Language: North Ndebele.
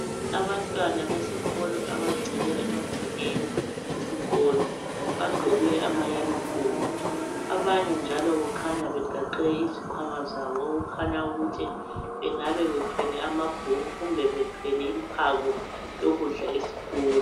Abantwana besikolo abagcwele emagcekeni esikolo bagqoke amayunifomu, abanye njalo kukhanya begaxe izikhwama zabo okukhanya ukuthi bengabe bethwele amabhuku kumbe bethwele imphako yokudla esikolo.